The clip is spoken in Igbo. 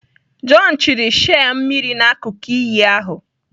John chiri shei mmiri n'akụkụ iyi ahụ.